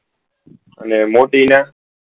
અને મોટી ને